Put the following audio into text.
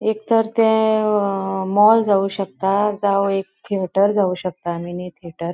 एक तर ते अ मॉल जावू शकता. जाव एक थिएटर जावू शकता मिनी थिएटर .